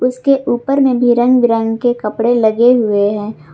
उसके ऊपर में भी रंग बिरंगे के कपड़े लगे हुए हैं।